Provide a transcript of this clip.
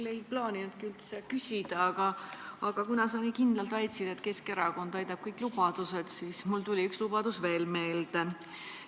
Ma ei plaaninud üldse küsida, aga sa nii kindlalt väitsid, et Keskerakond täidab kõik lubadused, ja mulle tuli üks lubadus veel meelde.